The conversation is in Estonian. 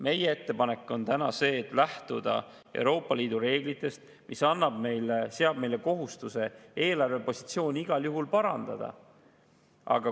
Meie ettepanek on lähtuda Euroopa Liidu reeglitest, mis seab meile kohustuse eelarvepositsiooni igal juhul parandada.